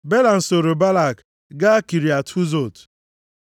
Belam sooro Balak gaa Kiriat Huzot.